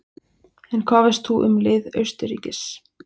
En hvað veist þú um lið Austurríkis?